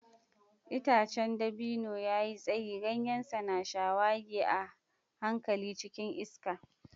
Itacen dabino ya yi tsayi, ganyensa na shawagi a hankali cikin iska.